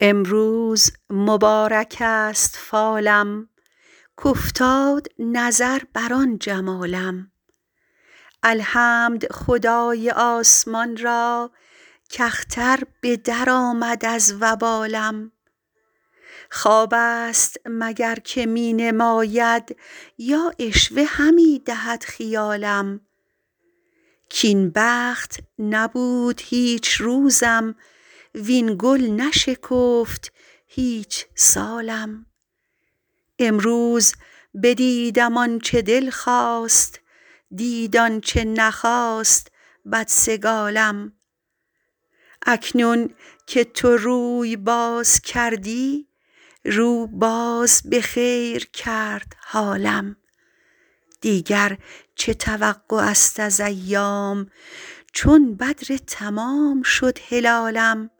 امروز مبارک است فالم کافتاد نظر بر آن جمالم الحمد خدای آسمان را کاختر به درآمد از وبالم خواب است مگر که می نماید یا عشوه همی دهد خیالم کاین بخت نبود هیچ روزم وین گل نشکفت هیچ سالم امروز بدیدم آن چه دل خواست دید آن چه نخواست بدسگالم اکنون که تو روی باز کردی رو باز به خیر کرد حالم دیگر چه توقع است از ایام چون بدر تمام شد هلالم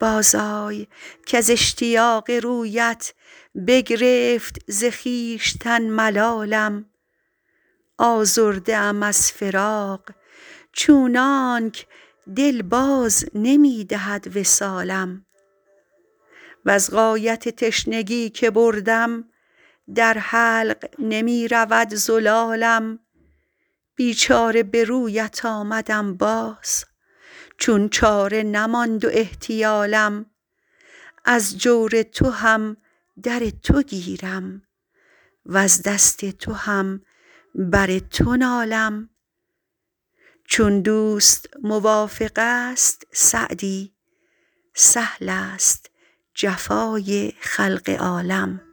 بازآی کز اشتیاق رویت بگرفت ز خویشتن ملالم آزرده ام از فراق چونانک دل باز نمی دهد وصالم وز غایت تشنگی که بردم در حلق نمی رود زلالم بیچاره به رویت آمدم باز چون چاره نماند و احتیالم از جور تو هم در تو گیرم وز دست تو هم بر تو نالم چون دوست موافق است سعدی سهل است جفای خلق عالم